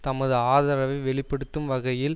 தமது ஆதரவை வெளி படுத்தும் வகையில்